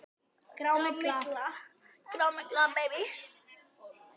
Grá. mygla!